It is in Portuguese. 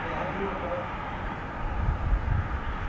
Bem ali, agora estamos aqui.